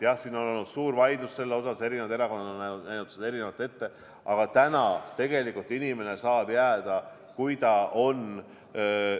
Jah, siin on olnud suur vaidlus selle üle, eri erakonnad on näinud seda erinevalt ette, aga täna inimene saab jääda, kui ta on ...